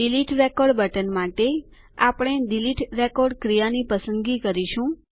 delete record button માટે આપણે delete record ક્રિયાની પસંદગી કરીશું